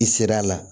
I sera a la